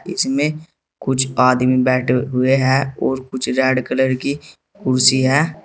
इसमें कुछ आदमी बैठे हुए हैं और कुछ रेड कलर की कुर्सी है।